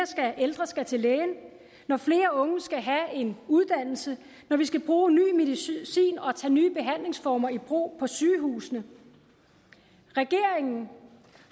ældre skal til lægen når flere unge skal have en uddannelse når vi skal bruge ny medicin og tage nye behandlingsformer i brug på sygehusene regeringen